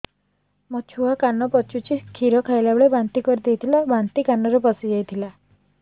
ମୋ ଛୁଆ କାନ ପଚୁଛି କ୍ଷୀର ଖାଇଲାବେଳେ ବାନ୍ତି କରି ଦେଇଥିଲା ବାନ୍ତି କାନରେ ପଶିଯାଇ ଥିଲା